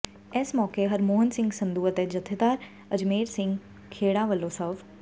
ਇਸ ਮੌਕੇ ਹਰਮੋਹਣ ਸਿੰਘ ਸੰਧੂ ਅਤੇ ਜਥੇਦਾਰ ਅਜਮੇਰ ਸਿੰਘ ਖੇੜਾ ਵੱਲੋਂ ਸਵ